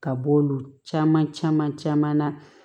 Ka bɔ olu caman caman na